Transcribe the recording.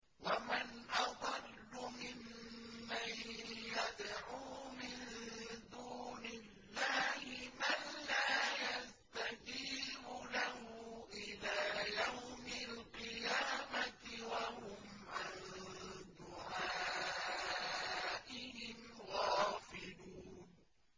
وَمَنْ أَضَلُّ مِمَّن يَدْعُو مِن دُونِ اللَّهِ مَن لَّا يَسْتَجِيبُ لَهُ إِلَىٰ يَوْمِ الْقِيَامَةِ وَهُمْ عَن دُعَائِهِمْ غَافِلُونَ